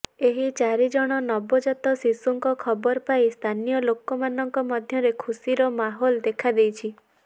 ଏହି ଚାରିଜଣ ନବଜାତ ଶିଶୁଙ୍କ ଖବର ପାଇ ସ୍ଥାନୀୟ ଲୋକମାନଙ୍କ ମଧ୍ୟରେ ଖୁସିର ମାହୋଲ ଦେଖାଦେଇଛି